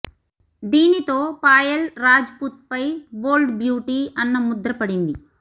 దీనితో పాయల్ రాజ్ పుత్ పై bold beauty అన్న ముద్ర పడింది